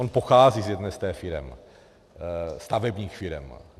On pochází z jedné z těch firem, stavebních firem.